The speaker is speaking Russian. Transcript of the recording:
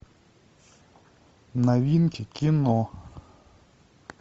новинки кино